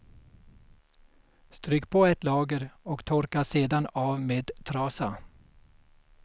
Stryk på ett lager och torka sedan av med trasa.